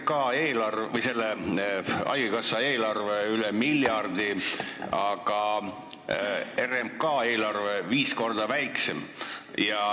Haigekassa eelarve on üle miljardi, aga RMK eelarve on viis korda väiksem.